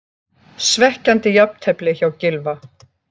Svekkjandi jafntefli hjá Gylfa